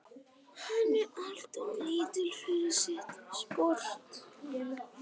Hann er alltof lítill fyrir sitt sport.